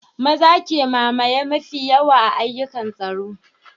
Maza ke mamaye mafi yawan ayyukan tsaro